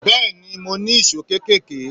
Bẹ́ẹ̀ni, mo ní ìṣó kéékèèké.